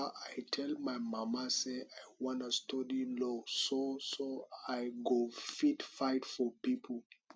um i tell my mama say i wan study law so so i go fit fight for people